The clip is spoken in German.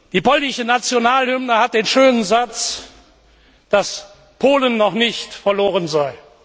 Die polnische Nationalhymne enthält den schönen Satz, dass Polen noch nicht verloren sei.